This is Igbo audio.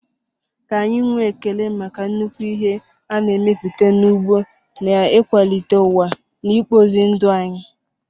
Ka anyị nwee ekele maka nnukwu ihe a na-emepụta n'ugbo n'ịkwalite ụwa na ịkpụzi ndụ anyị.